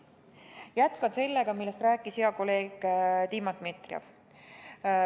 Jätkan sellega, millest rääkis hea kolleeg Dima Dmitrijev.